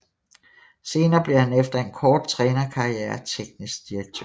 Senere blev han efter en kort trænerkarriere teknisk direktør